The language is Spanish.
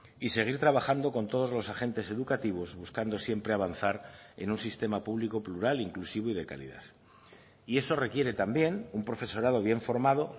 y seguir trabajando con todos los agentes educativos buscando siempre avanzar en un sistema público plural inclusivo y de calidad y eso requiere también un profesorado bien formado